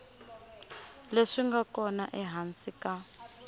leswi nga kona ehansi ka